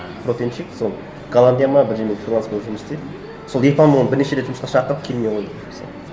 вот сол голландия ма бірдеңеде фриланс болып жұмыс істейді сол оны бірнеше рет жұмысқа шақырды келмей қойды мысалы